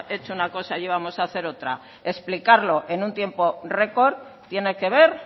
hecho una cosa íbamos a hacer otra explicarlo en un tiempo récord tiene que ver